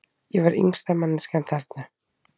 Ég var yngsta manneskjan þarna.